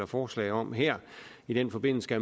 forslag om her i den forbindelse